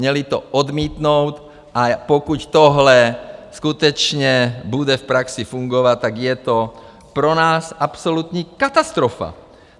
Měli to odmítnout, a pokud tohle skutečně bude v praxi fungovat, tak je to pro nás absolutní katastrofa.